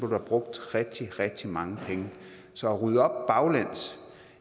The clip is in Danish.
der brugt rigtig rigtig mange penge så at rydde op baglæns